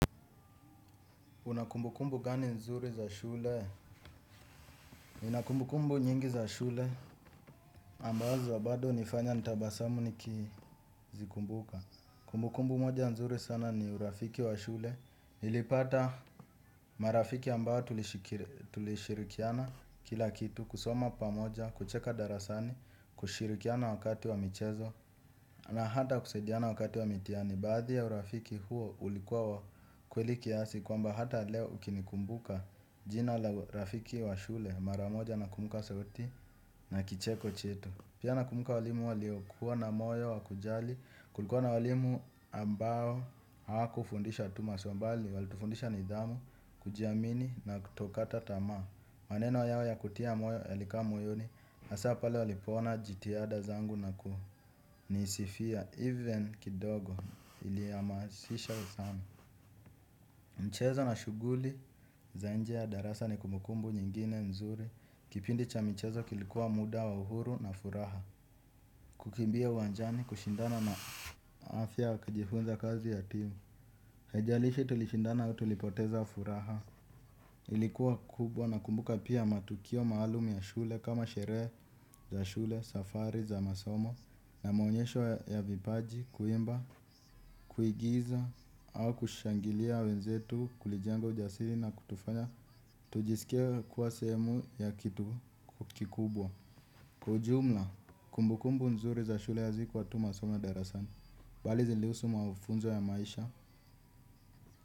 Una kumbukumbu gani nzuri za shule? Nina kumbukumbu nyingi za shule ambazo bado nifanya nitabasamu nikizikumbuka. Kumbukumbu moja nzuri sana ni urafiki wa shule. Nilipata marafiki ambao tulishirikiana kila kitu kusoma pamoja, kucheka darasani, kushirikiana wakati wa michezo. Na hata kusaidiana wakati wa mitiani, baadhi ya urafiki huo ulikuwa kweli kiasi kwamba hata leo ukinikumbuka jina urafiki wa shule maramoja na kumbuka sauti na kicheko chetu. Pia nakumuka walimu waliokuwa na moyo wa kujali, kulikuwa na walimu ambao wakufundisha tu masuambali, walitufundisha nidhamu, kujiamini na tokata tama. Maneno yao ya kutia moyo yalikaa moyoni, hasa pale walipoona jitiada zangu na kuonisifia even kidogo iliamasisha usami. Mchezo na shuguli za nje ya darasa ni kumukumbu nyingine nzuri. Kipindi cha mchezo kilikuwa muda wa uhuru na furaha. Kukimbia uanjani kushindana na afya wakajifunza kazi ya tiu. Haijalishi tulishindana au tulipoteza wa furaha. Ilikuwa kubwa nakumbuka pia matukio maalum ya shule kama sherehe za shule, safari za masomo. Na maonyesho ya vipaji, kuimba, kuigiza au kushangilia wenzetu kulijanga ujasiri na kutufanya tujisikie kuwa sehemu ya kitu kukikubwa. Kwa ujumla, kumbukumbu nzuri za shule hazikuwa tu masomo darasani. Bali zilihusu maufunzo ya maisha.